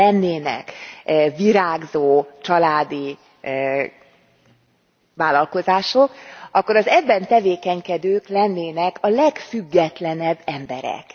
Ha lennének virágzó családi vállalkozások, akkor az ebben tevékenykedők lennének a legfüggetlenebb emberek.